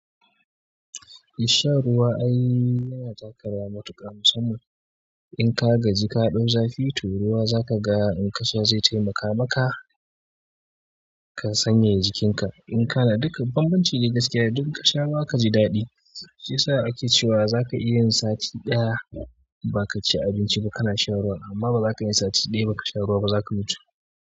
Shan ruwa ai yana taka rawa matuƙa, musamman in ka gaji ka ɗau zafi to ruwa za kaga in ka sha zai taimaka maka. Ka sanyaya jikinka. In kana duka bambancin ne gaskiya duk ka sha zaka ji daɗi. Shiyasa ake cewa zaka iya yin sati ɗaya baka ci abinci ba kana shan ruwa, amma bazaka iya yin sati ɗaya baka sha ruwa ba zaka mutu.